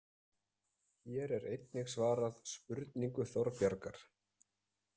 Hér er einnig svarað spurningu Þorbjargar: